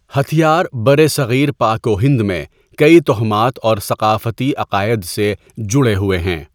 ہتھیار برصغیر پاک و ہند میں کئی توہمات اور ثقافتی عقائد سے جڑے ہوئے ہیں۔